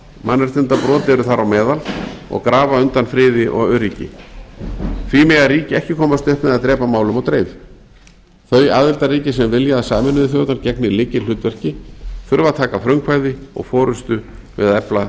mannréttindabrot eru þar á meðal og grafa undan friði og öryggi því mega ríki ekki komast upp með að drepa málum á dreif þau aðildarríki sem vilja að sameinuðu þjóðirnar gegni lykilhlutverki þurfa að taka frumkvæði og forustu við að efla